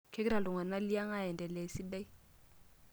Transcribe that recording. Kegira iltungana liang' aendelea esidai?